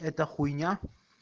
это хуйня